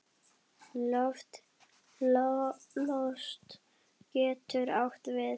Lost getur átt við